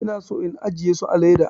Ina son in ajiye su a leda.